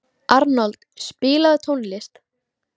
Arnold, spilaðu tónlist.